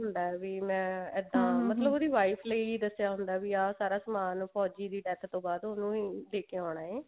ਹੁੰਦਾ ਹੈ ਵੀ ਮੈਂ ਇੱਦਾਂ ਇਸ ਲਈ ਦੱਸਿਆ ਹੁੰਦਾ ਵੀ ਆਹ ਸਾਰਾ ਸਮਾਨ ਫੋਜੀ ਦੀ death ਤੋਂ ਬਾਅਦ ਉਹਨੂੰ ਹੀ ਦੇਕੇ ਆਉਣਾ ਹੈ